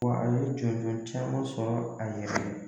Wa a ye jɔnjɔn caman sɔrɔ a yɛrɛ ye.